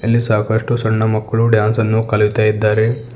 ಇಲ್ಲಿ ಸಾಕಷ್ಟು ಸಣ್ಣ ಮಕ್ಕಳು ಡಾನ್ಸ್ ನ್ನು ಕಲಿತಾಇದ್ದಾರೆ.